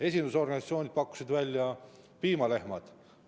Esindusorganisatsioonid pakkusid välja piimalehmad.